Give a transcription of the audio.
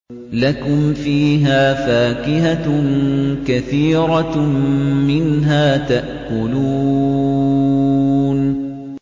لَكُمْ فِيهَا فَاكِهَةٌ كَثِيرَةٌ مِّنْهَا تَأْكُلُونَ